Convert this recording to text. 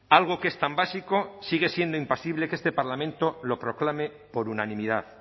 algo que es tan básico sigue siendo imposible que este parlamento lo proclame por unanimidad